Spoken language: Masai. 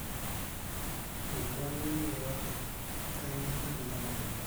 eitu aning yeyote, keigenyuk ina tenanu